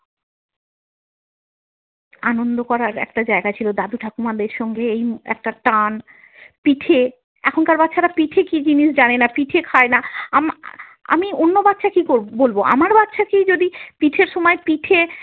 আনন্দ করার একটা জায়গা ছিল দাদু ঠাকুমাদের সঙ্গে একটা টান পিঠে, এখনকার বাচ্চারা পিঠে কি জিনিস জানে না, পিঠে খায় না, আম আহ আমি অন্য বাচ্ছা কি বলবো আমার বাচ্ছাকে যদি পিঠের সময় পিঠে।